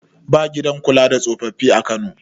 ba gidan kula da tsofaffi a Kano